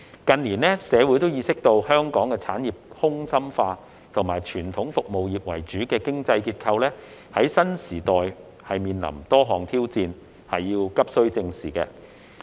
近年，社會意識到香港的產業空心化，以及傳統服務業為主的經濟結構在新時代面臨多項挑戰，急需正視。